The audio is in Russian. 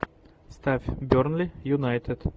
ставь бернли юнайтед